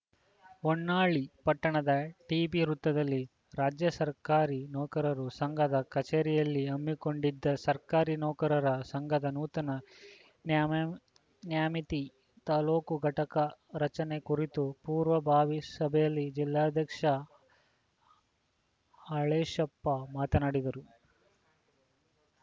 ಹೊನ್ನಾಳಿ ಪಟ್ಟಣದ ಟಿಬಿ ವೃತ್ತದಲ್ಲಿ ರಾಜ್ಯ ಸರ್ಕಾರಿ ನೌಕರರು ಸಂಘದ ಕಚೇರಿಯಲ್ಲಿ ಹಮ್ಮಿಕೊಂಡಿದ್ದ ಸರ್ಕಾರಿ ನೌಕರರ ಸಂಘದ ನೂತನ ನ್ಯಾಮಮ್ ನ್ಯಾಮಿತಿ ತಾಲೂಕು ಘಟಕ ರಚನೆ ಕುರಿತ ಪೂರ್ವಭಾವಿ ಸಭೆಯಲ್ಲಿ ಜಿಲ್ಲಾಧ್ಯಕ್ಷ ಹಾಲೇಶಪ್ಪ ಮಾತನಾಡಿದರು